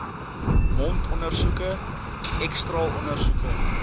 mondondersoeke x straalondersoeke